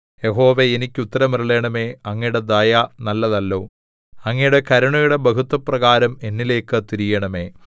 യഹോവേ എനിക്കുത്തരമരുളണമേ അങ്ങയുടെ ദയ നല്ലതല്ലോ അങ്ങയുടെ കരുണയുടെ ബഹുത്വപ്രകാരം എന്നിലേക്ക് തിരിയണമേ